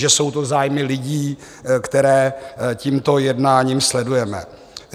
Že jsou to zájmy lidí, které tímto jednáním sledujeme.